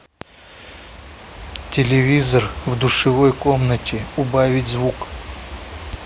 телевизор в душевой комнате убавить звук